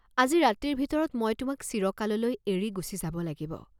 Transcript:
আজি ৰাতিৰ ভিতৰত মই তোমাক চিৰকাললৈ এৰি গুচি যাব লাগিব।